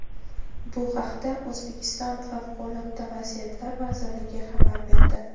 Bu haqda O‘zbekiston Favqulodda vaziyatlar vazirligi xabar berdi .